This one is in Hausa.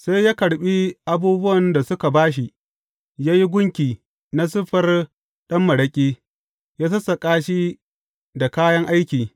Sai ya karɓi abubuwan da suka ba shi, ya yi gunki na siffar ɗan maraƙi, ya sassaƙa shi da kayan aiki.